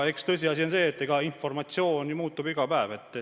Eks tõsiasi on see, et informatsioon muutub ju iga päev.